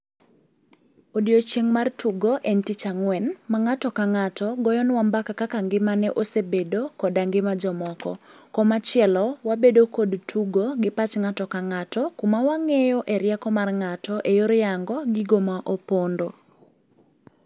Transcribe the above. Odiochieng' mar tugo en tich Ang'wen ma ng'ato ka ng'ato goyonwa mbaka kaka ngimane osebedo koda ngima jomoko. Komachielo, wabedo kod tugo gi pach ng'ato, kuma wang'eyo e rieko mar ng'ato e yor yango gigo ma opondo.